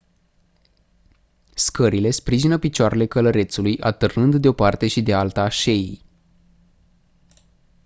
scările sprijină picioarele călărețului atârnând de-o parte și de alta a șeii